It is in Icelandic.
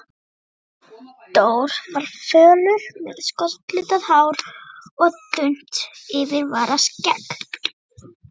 Steindór var fölur, með skollitað hár og þunnt yfirvararskegg.